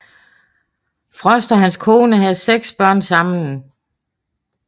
Frost og hans kone havde seks børn sammen